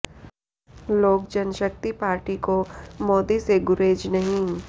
लोक जनशक्ति पार्टी को मोदी से गुरेज नहीं